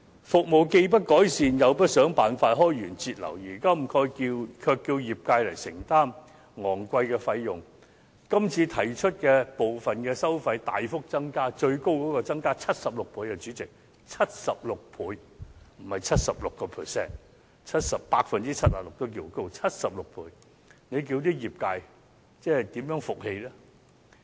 服務既不改善，又不想辦法開源節流，如今卻要業界承擔昂貴費用，這次提出的部分收費大幅增加，最高更是增加76倍——主席，是76倍，不是 76%；76% 已經算高，何況是76倍——這叫業界怎能信服？